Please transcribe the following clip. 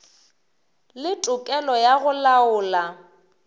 le tokelo ya go laola